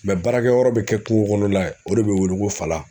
baarakɛyɔrɔ bɛ kɛ kungokɔnɔla ye o de bɛ wele ko fala